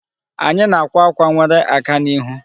Anyị na-akwa ákwà nwere aka n'ihu.